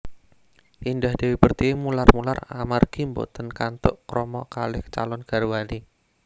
Indah Dewi Pertiwi mular mular amargi mboten kantuk krama kalih calon garwane